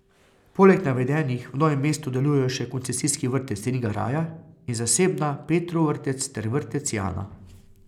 Poleg navedenih v Novem mestu delujejo še koncesijski vrtec Ringaraja in zasebna Petrov vrtec ter vrtec Jana.